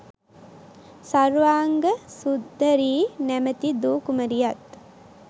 සර්වාංග සුර්දරී නමැති දූ කුමරියත්